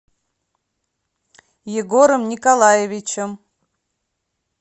егором николаевичем